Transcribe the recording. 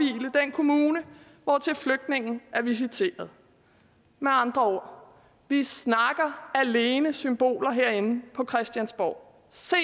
kommune hvortil flygtningen er visiteret med andre ord vi snakker alene symboler herinde på christiansborg se